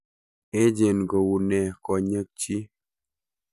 Echeen kouu nee kony'ekchi?